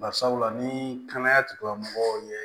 Barisabula ni kɛnɛya tigilamɔgɔw ye